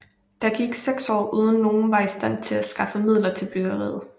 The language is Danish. Derefter gik der 6 år uden nogen var i stand til at skaffe midler til byggeriet